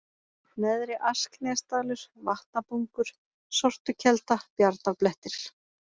Neðri-Asknesdalur, Vatnabungur, Sortukelda, Bjarnablettir